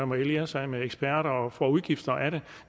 må alliere sig med eksperter og får udgifter af